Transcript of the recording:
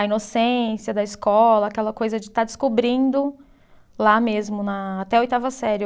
A inocência da escola, aquela coisa de estar descobrindo lá mesmo na, até a oitava série.